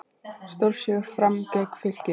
Stórsigur Fram gegn Fylki